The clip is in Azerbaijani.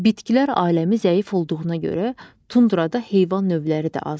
Bitkilər aləmi zəif olduğuna görə, tundrada heyvan növləri də azdır.